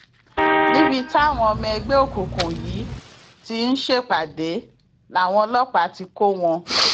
níbi táwọn ọmọ ẹgbẹ òkùnkùn yìí ti ń ṣèpàdé làwọn ọlọpàá ti kọ wọn